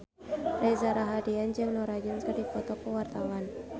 Reza Rahardian jeung Norah Jones keur dipoto ku wartawan